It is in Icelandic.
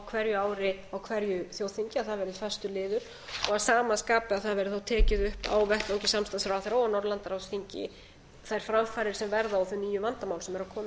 hverju ári á hverju þjóðþingi að það verði fastur liður að sama skapi að það verði tekið upp á vettvangi samstarfsráðherra og á norðurlandaráðsþingi þær framfarir sem verða og þau nýju vandamál sem eru að koma upp